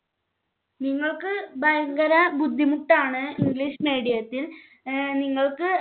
നിങ്ങൾക്ക് ഭയങ്കര ബുദ്ധിമുട്ടാണ് English Medium ത്തിൽ നിങ്ങൾക്ക്